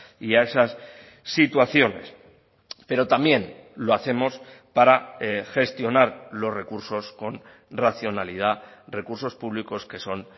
y a esas situaciones pero también lo hacemos para gestionar los recursos con racionalidad recursos públicos que son